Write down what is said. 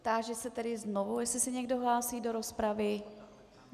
Táži se tedy znovu, jestli se někdo hlásí do rozpravy.